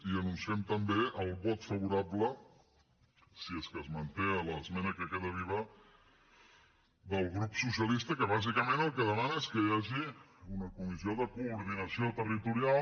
i anunciem també el vot favorable si és que es manté a l’esmena que queda viva del grup socialista que bàsicament el que demana és que hi hagi una comissió de coordinació territorial